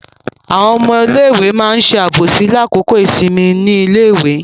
Àwọn ọmọ iléèwé ma ṣe àbòsí ní àkókò ìsinmi ní iléèwé.